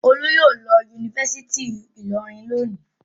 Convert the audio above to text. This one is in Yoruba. Olú yóò lọ Yunifásítì Ìlọrin lónìí.